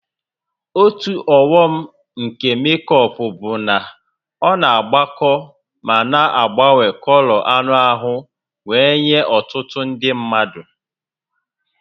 Otu ọghọm nke mékọpụ bụ na ọ na-agbakọ ma na-agbanwe kọlọ anụ ahụ wee nye ọtụtụ mmadụ